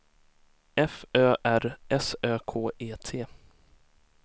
F Ö R S Ö K E T